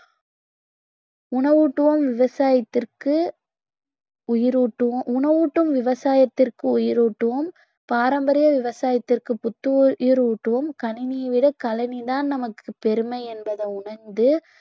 உணவூட்டுவோம் விவசாயத்திற்கு உயிரூட்டுவோ~ உணவூட்டும் விவசாயத்திற்கு உயிரூட்டுவோம் பாரம்பரிய விவசாயத்திற்கு புத்துயிர் ஊட்டுவோம் கணினியை விட கழனிதான் நமக்கு பெருமை என்பதை உணர்ந்து